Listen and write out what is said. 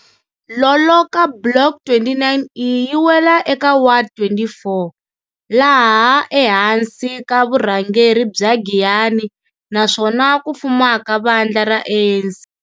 Loloka Block 29E yi wela eka ward 24 laha ehansi ka vurhangeri bya Giyani naswona ku fumaka vandla ra ANC.